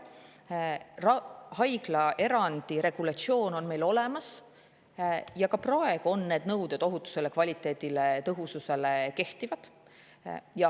Haiglaerandi regulatsioon on meil olemas ja ka praegu kehtivad nõuded ravimite ohutusele, kvaliteedile, tõhususele.